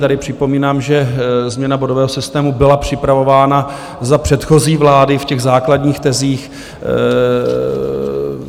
Tady připomínám, že změna bodového systému byla připravována za předchozí vlády v těch základních tezích.